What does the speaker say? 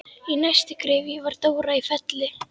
Í næstu gryfju var Dóra í Felli.